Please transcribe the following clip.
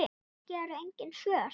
Kannski eru engin svör.